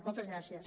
moltes gràcies